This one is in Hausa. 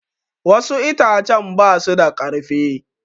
Wassu itacen basu da karfi